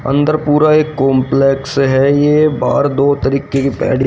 अंदर पूरा एक कॉम्प्लेक्स है ये बाहर दो तरीके के--